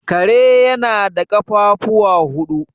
Kare yana da ƙafafuwa huɗu.